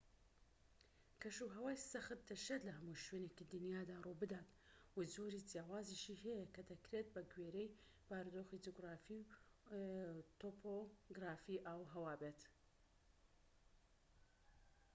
کەشوهەوای سەخت دەشێت لە هەموو شوێنێکی دنیادا ڕووبدات و جۆری جیاوازیشی هەیە کە دەکرێت بە گوێرەی بارودۆخی جوگرافی و تۆپۆۆگرافی ئاوهەوا بێت